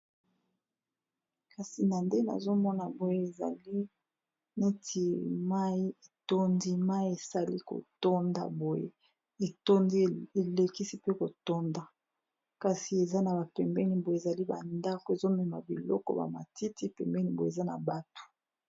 kasi na nde nazomona boye ezali neti mai etondi mai esali kotonda boye etondi elekisi pe kotonda kasi eza na bapembeni boye ezali bandako ezomema biloko bamatiti pembeni mboye eza na bato